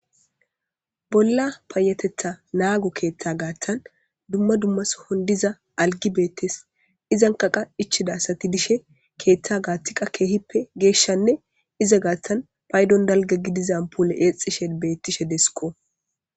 Bolla payatetha naago keeththa gaaththan dumma dummasohon diza algi beettes izan kaqa ichidasati dishe keeththa gaaththiqa keehippe geeshshanne iza gaaththan paydon dalga gidizan apule exishe beettishe desko.